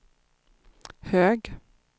hög